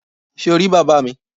Sé o rí bàbá mi?